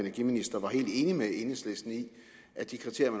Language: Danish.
energiminister var helt enig med enhedslisten i at de kriterier